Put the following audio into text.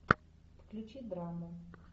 включи драму